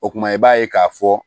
O kumana i b'a ye k'a fɔ